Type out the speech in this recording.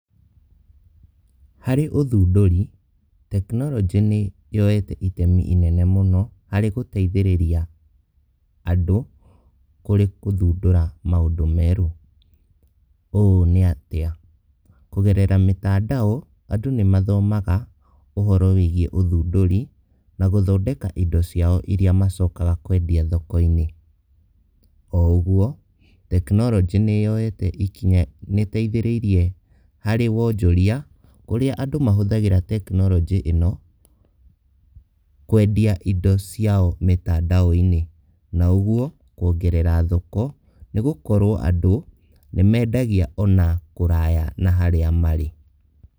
Harĩ othundũri, tekinoronjĩ nĩ yoete itemi inene mũno, harĩ gũteithĩrĩria andũ, kũrĩ gũthundũra maũndũ merũ, ũũ nĩ atĩa? kũgerera mĩtandao andũ nĩ mathomaga ũhoro wĩgiĩ ũthũndũri, na gũthondeka indo ciao iria macokaga kwendia thoko-inĩ, o ũgwo, tekinoronjĩ nĩ yoyete ikinya, nĩ ĩteithĩrĩrie harĩ wonjoria, kũrĩa andũ mahũthagĩra tekinoronjĩ ĩno, kwendia indo ciao mĩtandao- inĩ na ũguo, kwongerera thoko nĩgũkorwo andũ nĩ mendagĩa ona kũraya na harĩa marĩ.